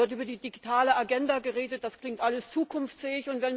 Da wird über die digitale Agenda geredet, das klingt alles zukunftsfähig.